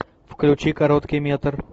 включи короткий метр